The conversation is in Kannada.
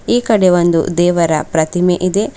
ಈ ಕಡೆ ಒಂದು ದೇವರ ಪ್ರತಿಮೆ ಇದೆ.